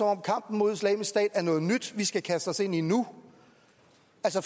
om kampen mod islamisk stat er noget nyt vi skal kaste os ind i nu